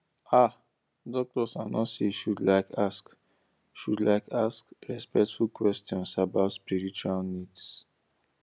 ah doctors and nurses should like ask should like ask respectful questions about spiritual needs